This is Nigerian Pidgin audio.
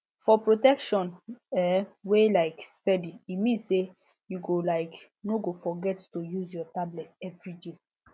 for protection um wey um steady e mean say you um no go forget to use your tablet everyday